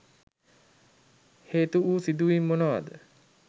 හේතු වූ සිදුවීම් මොනවාද?